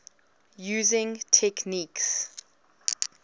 using techniques